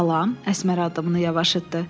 Əsmər addımını yavaşıtdı.